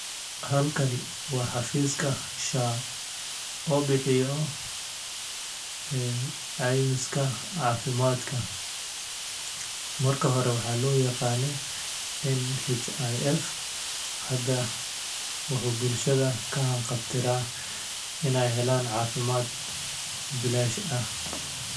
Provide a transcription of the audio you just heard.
Halkani waa xafiiska shaqo oo bixiyo caymiska caafimaadka. Markii hore waxaa loo aqaanay NHIF. Hadda wuxuu bulshada ka hanqal taagayaa in ay helaan caafimaad bilaash ah.